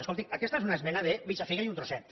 escolti aquesta és una esmena de mitja figa i un trosset